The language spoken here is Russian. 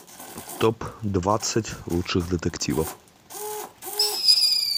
топ двадцать лучших детективов